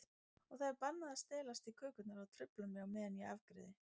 Og það er bannað að stelast í kökurnar og trufla mig á meðan ég afgreiði.